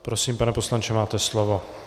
Prosím, pane poslanče, máte slovo.